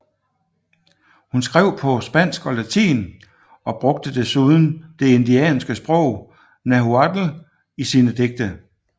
Hun skrev på spansk og latin og brugte desuden det indianske sprog Nahuatl i sine digte